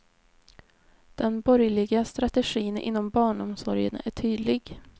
Den borgerliga strategin inom barnomsorgen är tydlig.